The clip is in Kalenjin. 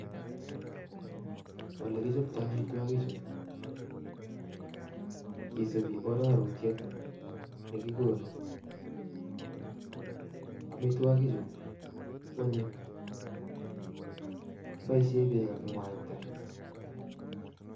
Olekichopto amitwokichu kisupi arorutiet nikikonu, amitwakichu kwonyiny, kiboishen beek ak mwaita.